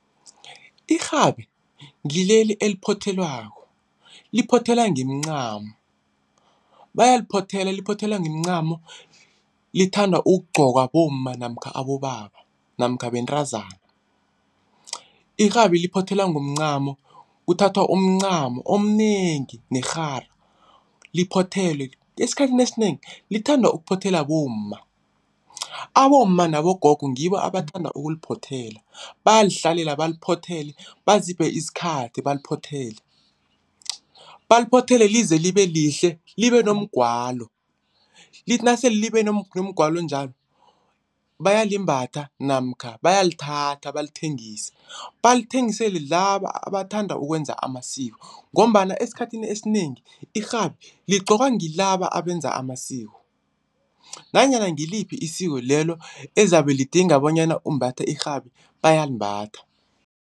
Irhabi ngileli eliphothelwako, liphothelwa ngemcamo. Bayaliphothela, liphothelwa ngemcamo lithanda ukugqokwa bomma namkha abobaba namkha bentazana. irhabi liphothelwa ngemncamo kuthathwa umncamo omnengi nerhara liphothelwe. Esikhathini esinengi lithanda ukuphothelwa bomma, abomma nabogogo ngibo abathanda ukuliphothela. Bayalihlalela baliphothele baziphe isikhathi baliphothele. Baliphothele lize libe lihle libe nomgwalo, lithi nasele libe nomgwalo njalo bayalimbatha namkha bayalithatha balithengise. Balithengisele laba abathanda ukwenza amasiko ngombana esikhathini esinengi, irhabi ligqokwa ngilaba abenza amasiko nanyana ngiliphi isiko lelo ezabe lidinga bonyana umbathe irhabi bayalimbatha.